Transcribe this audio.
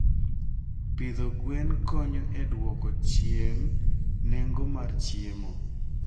Pidho gwen konyo e dwoko chien nengo mar chiemo.